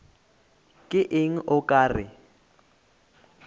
ke eng o ka re